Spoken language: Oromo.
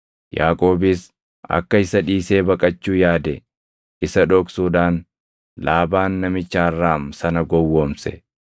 Yaaqoobis akka isa dhiisee baqachuu yaade isa dhoksuudhaan Laabaan namicha Arraam sana gowwoomse.